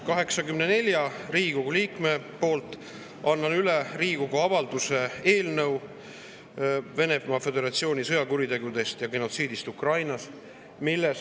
84 Riigikogu liikme poolt annan üle Riigikogu avalduse "Venemaa Föderatsiooni sõjakuritegudest ja genotsiidist Ukrainas" eelnõu.